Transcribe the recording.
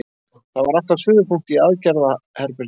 Það var allt á suðupunkti í aðgerðaherberginu.